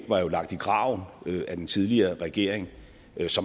var lagt i graven af den tidligere regering